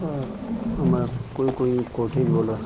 अ हमारा कोई-कोई कोठी वाला।